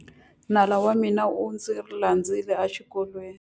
Nala wa mina u ndzi landzile exikolweni.